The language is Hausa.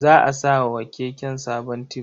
Za a sa wa keken sabon tib.